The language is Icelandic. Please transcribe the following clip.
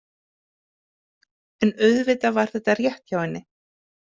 En auðvitað var þetta rétt hjá henni.